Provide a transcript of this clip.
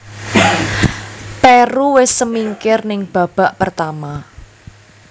Peru wis semingkir ning babak pertama